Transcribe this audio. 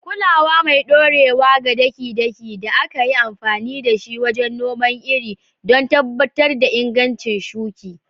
kulawa mai ɗorewa ga daki-daki da aka yi amfani da shi wajen noman iri don tabbatar da inganci shuki